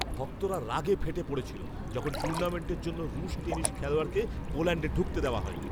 ভক্তরা রাগে ফেটে পড়েছিল যখন টুর্নামেন্টের জন্য রুশ টেনিস খেলোয়াড়কে পোল্যাণ্ডে ঢুকতে দেওয়া হয়নি।